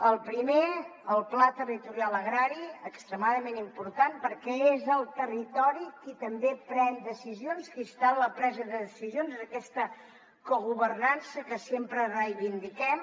el primer el pla territorial agrari extremadament important perquè és el territo ri qui també pren decisions qui està en la presa de decisions és aquesta cogovernança que sempre reivindiquem